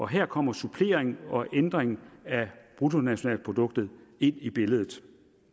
her kommer supplering og ændring af bruttonationalproduktet ind i billedet